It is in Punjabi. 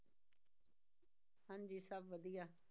ਹਾਂਜੀ ਸਭ ਵਧੀਆ।